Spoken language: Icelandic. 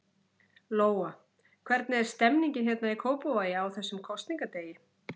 Lóa: Hvernig er stemmningin hérna í Kópavogi, á þessum kosningadegi?